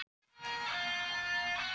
Viltu segja eitthvað í lokaorðum?